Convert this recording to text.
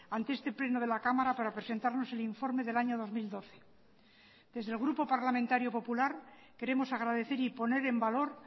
ante este pleno de la cámara para presentarnos el informe del año dos mil doce desde el grupo parlamentario popular queremos agradecer y poner en valor